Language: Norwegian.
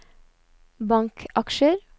bankaksjer